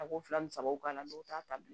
A ko fila ni sabaw k'a la dɔw t'a ta bi